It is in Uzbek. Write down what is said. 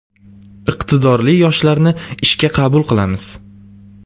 Iqtidorli yoshlarni ishga qabul qilamiz.